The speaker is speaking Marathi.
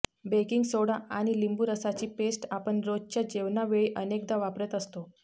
बेकिंग सोडा आणि लिंबू रसाची पेस्ट आपण रोजच्या जेवणावेळी अनेकदा वापरत असतो